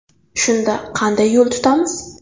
Shunda qanday yo‘l tutamiz?